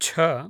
छ